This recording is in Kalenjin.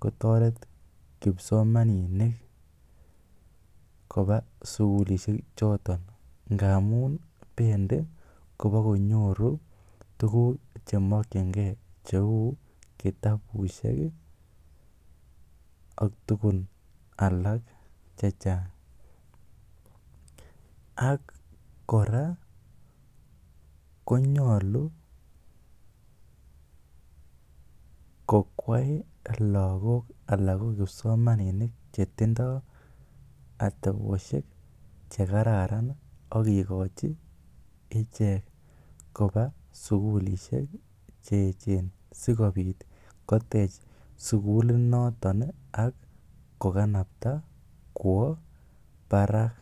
kotoret kipsomaninik koba sugulishek choto, ngamun bendi kobakonyoru tuguk che mokinge cheu kitabushek ak tugun alak chechang. Ak kora konyolu kokwai lagok anan ko kipsomaninik che tindo atebosiek che kararan ak kigochi ichek koba sugulishek che eechen sikoit kotech sugulinoto ak koganapta kwo barak.